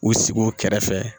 U sigi o kɛrɛfɛ